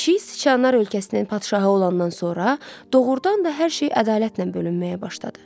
Pişik siçanlar ölkəsinin padşahı olandan sonra doğurdan da hər şey ədalətlə bölünməyə başladı.